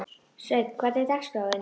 Sveinn, hvernig er dagskráin?